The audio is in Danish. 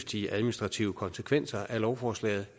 de administrative konsekvenser af lovforslaget